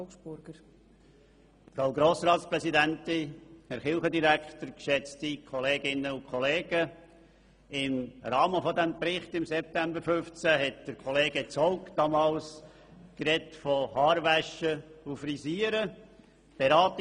Als wir im September 2015 den Bericht zum Verhältnis von Kirche und Staat besprochen haben, hat Herr Kollege Hannes Zaugg damals vom Haarewaschen und Frisieren gesprochen.